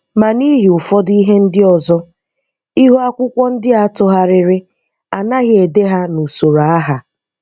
Ma n'ihi ụfọdụ ihe ndị ọzọ, ihu akwụkwọ ndị a tụgharịrị, anaghị ede ha n'usoro aha.